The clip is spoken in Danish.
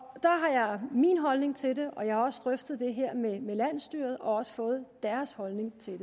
min holdning til det og jeg har også drøftet det her med landsstyret og fået deres holdning til